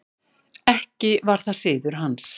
Ekki var það siður hans.